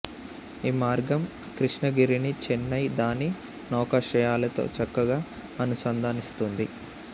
ఈ మార్గం క్రిష్ణగిరిని చెన్నై దాని నౌకాశ్రయాలతో చక్కగా అనుసంధానిస్తుంది